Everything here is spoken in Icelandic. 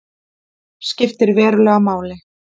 Skiptir verulegu máli